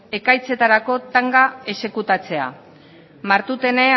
ekaitzetarako tanga exekutatzea martutene